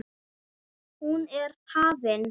Hún er hafin.